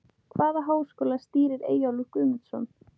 Hvaða háskóla stýrir Eyjólfur Guðmundsson?